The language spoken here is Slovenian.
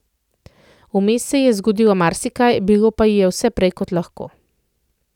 Vmes se ji je zgodilo marsikaj, bilo pa ji je vse prej kot lahko.